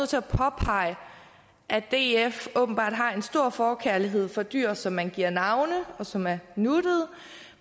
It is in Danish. til at påpege at df åbenbart har en stor forkærlighed for dyr som man giver navne og som er nuttede